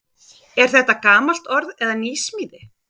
Er þetta gamalt orð eða nýsmíði?